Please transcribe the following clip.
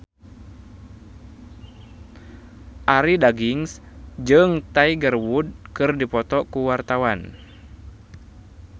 Arie Daginks jeung Tiger Wood keur dipoto ku wartawan